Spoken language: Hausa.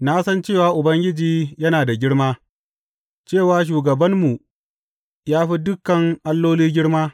Na san cewa Ubangiji yana da girma, cewa shugabanmu ya fi dukan alloli girma.